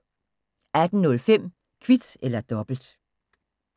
18:05: Kvit eller dobbelt